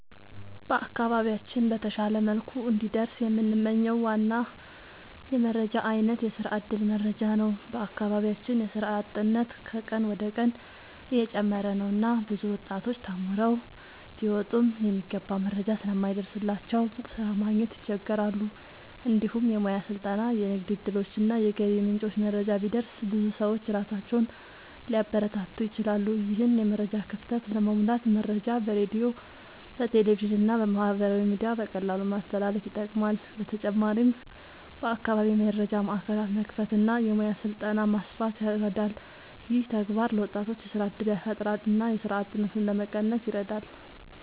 በአካባቢያችን በተሻለ መልኩ እንዲደርስ የምንመኝው ዋና የመረጃ አይነት የስራ እድል መረጃ ነው። በአካባቢያችን የስራ አጥነት ከቀን ወደ ቀን እየጨመረ ነው እና ብዙ ወጣቶች ተማርተው ቢወጡም የሚገባ መረጃ ስለማይደርስላቸው ስራ ማግኘት ይቸገራሉ። እንዲሁም የሙያ ስልጠና፣ የንግድ እድሎች እና የገቢ ምንጮች መረጃ ቢደርስ ብዙ ሰዎች ራሳቸውን ሊያበረታቱ ይችላሉ። ይህን የመረጃ ክፍተት ለመሙላት መረጃ በሬዲዮ፣ በቴሌቪዥን እና በማህበራዊ ሚዲያ በቀላሉ ማስተላለፍ ይጠቅማል። በተጨማሪም በአካባቢ የመረጃ ማዕከላት መክፈት እና የሙያ ስልጠና ማስፋት ይረዳል። ይህ ተግባር ለወጣቶች የስራ እድል ያፈጥራል እና የስራ አጥነትን ለመቀነስ ይረዳል።